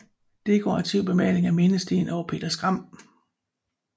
Dekorativ bemaling af mindesten over Peder Skram